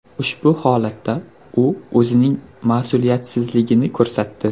Ushbu holatda u o‘zining mas’uliyatsizligini ko‘rsatdi.